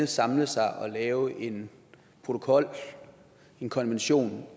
samle sig og lave en protokol en konvention